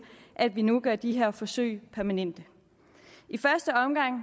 at vi nu gør de her forsøg permanente i første omgang